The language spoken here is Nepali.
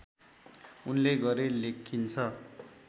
उनले गरे लेखिन्छ